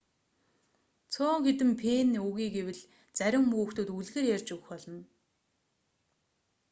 цөөн хэдэн пенни өгье гэвэл зарим хүүхдүүд үлгэр ярьж өгөх болно